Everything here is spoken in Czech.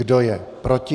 Kdo je proti?